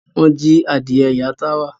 Wọ́n jí adìẹ ìyá Táwà.